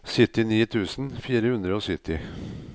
syttini tusen fire hundre og sytti